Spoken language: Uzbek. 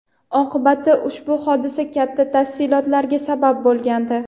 Oqibatda ushbu hodisa katta talafotlarga sabab bo‘lgandi.